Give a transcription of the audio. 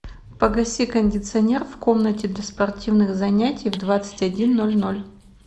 погаси кондиционер в комнате для спортивных занятий в двадцать один ноль ноль